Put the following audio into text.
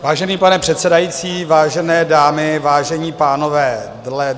Vážený pane předsedající, vážené dámy, vážení pánové.